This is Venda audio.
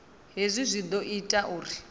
hezwi zwi ḓo ita uri